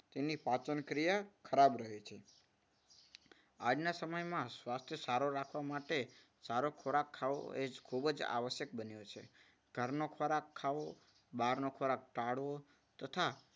તેની પાચનક્રિયા ખરાબ રહે છે. આજના સમયમાં સ્વાસ્થ્ય છે સારું રાખવા માટે સારો ખોરાક ખાઓ એ ખૂબ જ આવશ્યક બને છે. ઘરનો ખોરાક ખાવો, બહારનો ખોરાક ટાળવો તથા